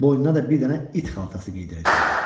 Boynuna da bir dənə it xaltası geydirəcəklər.